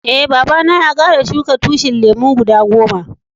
Eh, baba na ya kara shuka tushin lemu guda goma.